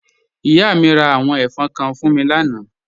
Ìyà mi rá àwọn ẹ̀fọn kán fún mí lànà.